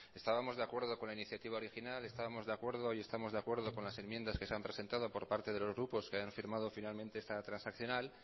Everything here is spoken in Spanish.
estábamos de acuerdo con la iniciativa original estábamos de acuerdo y estamos de acuerdo con las enmiendas que se han presentado por parte de los grupos que han firmado finalmente esta transaccional